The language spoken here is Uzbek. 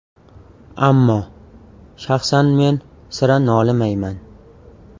Ammo shaxsan men sira nolimayman.